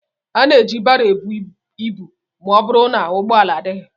Ana eji baro ebu ibu ma ọ bụrụ na ụgbọala adịghị.